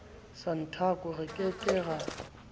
santaco re ke ke ra